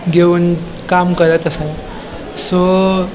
घेवन काम करत आसा सो --